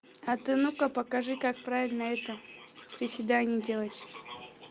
а ты ну-ка покажи как правильно это приседаний делать